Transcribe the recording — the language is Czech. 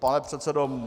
Pane předsedo...